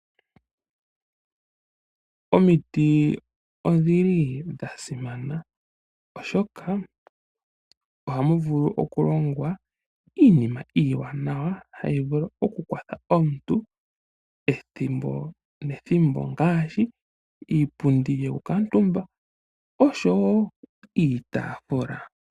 Omiti odhili dha simana, oshoka ohamu vulu okulongwa iinima iiwanawa hayi vulu oku kwatha omuntu ethimbo ne thimbo ngaashi iipundi yoku kuutumba noshowo iitafula.